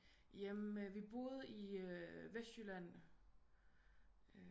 Ja men vi boede i vestjylland